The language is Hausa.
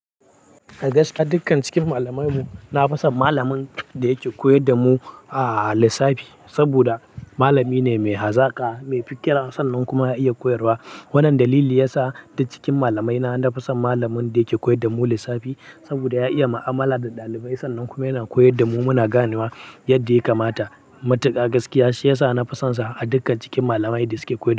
A gaskiya dukkan cikin malaman mu, na fi son malamin da yake koyar da mu ah lissafi. Saboda malami ne mai hazaka, mai fiƙira sannan kuma ya iya koyarwa. Wannan dalili yasa duk cikin malamai na, na fi son malamin da yake koyar da mu lissafi. Saboda ya iya ma'amala da ɗalibai sannan kuma yana koyar da mu muna gane wa yadda ya kamata. Matuka gaskiya shi yasa na fi son sa a dukkan cikin malamai da suke koyarwa.